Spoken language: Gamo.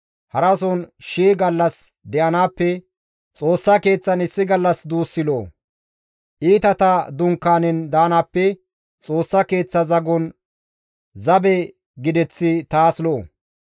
Harason shii gallas de7anaappe Xoossa Keeththan issi gallas duussi lo7o; Iitata dunkaanen daanaappe Xoossa Keeththa zagon zabe gideththi taas lo7o.